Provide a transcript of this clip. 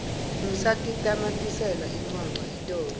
ngisatitamatisela incwancwa itolo